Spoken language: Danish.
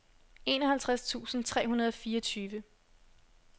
enoghalvtreds tusind tre hundrede og fireogtyve